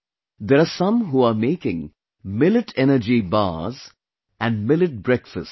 There are some who are making Millet Energy Bars, and Millet Breakfasts